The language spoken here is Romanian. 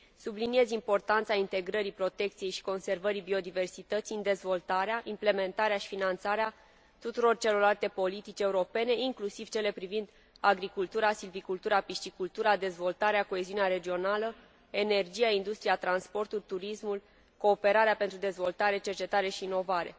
Subliniez importanța integrării protecției și conservării biodiversității în dezvoltarea, implementarea și finanțarea tuturor celorlalte politici europene, inclusiv cele privind agricultura, silvicultura, piscicultura, dezvoltarea, coeziunea regională, energia, industria, transportul, turismul, cooperarea pentru dezvoltare, cercetare și inovare.